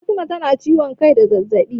Fatima tana ciwon kai da ɗan zazzaɓi.